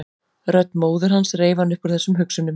Rödd móður hans reif hann upp úr þessum hugsunum.